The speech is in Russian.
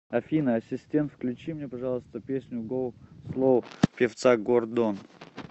афина ассистент включи мне пожалуйста песню гоу слоу певца гордон